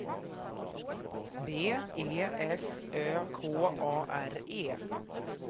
B E S Ö K A R E